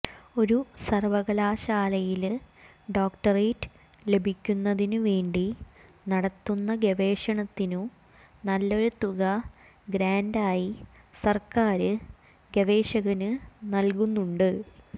ഒരു സര്വ്വകലാശാലയില് ഡോക്ടരെറ്റ് ലഭിക്കുന്നതിനു വേണ്ടി നടത്തുന്ന ഗവേഷണത്തിനു നല്ലൊരു തുക ഗ്രാന്റായി സര്ക്കാര് ഗവേഷകന് നല്കുന്നുണ്ട്